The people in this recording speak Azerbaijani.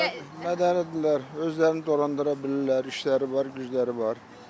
Mədəlidirlər, özlərini dolandıra bilirlər, işləri var, gücləri var.